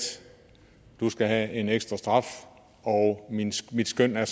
skal have en ekstra straf og mit skøn er